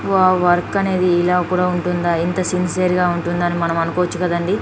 Wow work అనేది ఇలా కూడా ఉంటుందా ఇంత సిన్సియర్ గ ఉంటుందా అని మనం అనుకోవోచు కదండి.